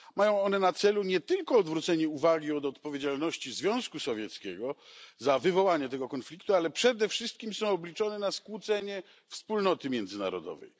Mają one na celu nie tylko odwrócenie uwagi od odpowiedzialności Związku Sowieckiego za wywołanie tego konfliktu, ale przede wszystkim są obliczone na skłócenie wspólnoty międzynarodowej.